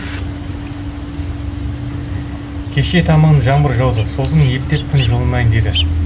кешке таман жаңбыр жауды сосын ептеп күн жылынайын деді